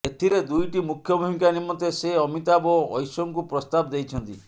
ଏଥିରେ ଦୁଇଟି ମୁଖ୍ୟ ଭୂମିକା ନିମନ୍ତେ ସେ ଅମିତାଭ ଓ ଐଶ୍ଙ୍କୁ ପ୍ରସ୍ତାବ ଦେଇଛନ୍ତି